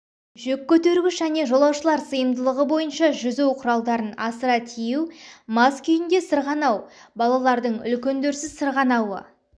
жүк көтергіш және жолаушылар сыйымдылығы бойынша жүзу құралдарын асыра тиеу мас күйінде сырғанау балаларың үлкендерсіз сырғанауы